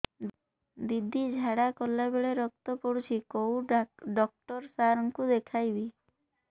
ଦିଦି ଝାଡ଼ା କଲା ବେଳେ ରକ୍ତ ପଡୁଛି କଉଁ ଡକ୍ଟର ସାର କୁ ଦଖାଇବି